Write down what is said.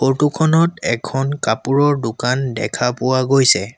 Photo খনত এখন কাপোৰৰ দোকান দেখা পোৱা গৈছে।